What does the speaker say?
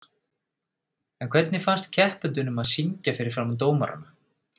En hvernig fannst keppendunum að syngja fyrir framan dómarana?